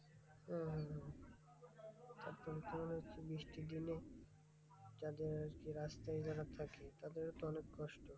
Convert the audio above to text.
হম হম হম তারপরে তোমার হচ্ছে বৃষ্টির দিনে যাদের আরকি রাস্তায় যারা থাকে তাদেরও তো অনেক কষ্ট।